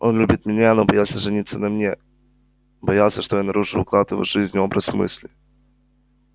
он любит меня но боялся жениться на мне боялся что я нарушу уклад его жизни образ мыслей